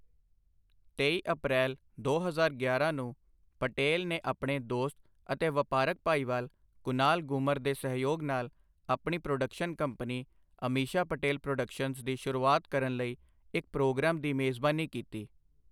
ਤੇਈ ਅਪ੍ਰੈਲ ਦੋ ਹਜ਼ਾਰ ਗਿਆਰਾਂ ਨੂੰ, ਪਟੇਲ ਨੇ ਆਪਣੇ ਦੋਸਤ ਅਤੇ ਵਪਾਰਕ ਭਾਈਵਾਲ ਕੁਨਾਲ ਗੂਮਰ ਦੇ ਸਹਿਯੋਗ ਨਾਲ ਆਪਣੀ production company Ameesha Patel productions ਦੀ ਸ਼ੁਰੂਆਤ ਕਰਨ ਲਈ ਇੱਕ ਪ੍ਰੋਗਰਾਮ ਦੀ ਮੇਜ਼ਬਾਨੀ ਕੀਤੀ।